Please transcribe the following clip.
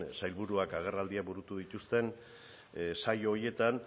sailburuak agerraldiak burutu dituzten saio horietan